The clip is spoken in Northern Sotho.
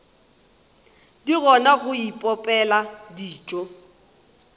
di kgona go ipopela dijo